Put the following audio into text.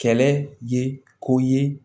Kɛlɛ ye ko ye